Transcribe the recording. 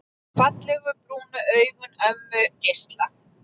Fallegu, brúnu augun ömmu geisla.